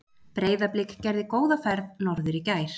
Breiðablik gerði góða ferð norður í gær.